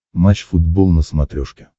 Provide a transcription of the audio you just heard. матч футбол на смотрешке